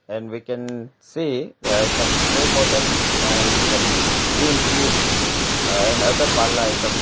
and we can see uhh some spray bottles and some cream tubes uhh and other parlour items.